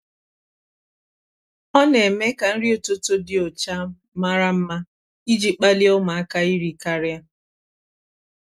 ọ na-eme ka nri ụtụtụ dị ụcha mara mma iji kpalie ụmụaka iri karịa.